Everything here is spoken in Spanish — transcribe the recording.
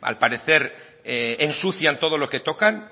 al parecer ensucian todo lo que tocan